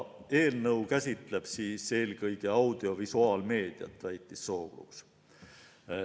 Eelnõu käsitleb eelkõige audiovisuaalmeediat, väitis Sookruus.